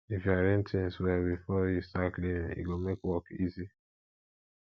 if you arrange things well before you start cleaning e go make work easy